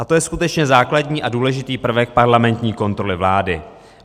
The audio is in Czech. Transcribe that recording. A to je skutečně základní a důležitý prvek parlamentní kontroly vlády.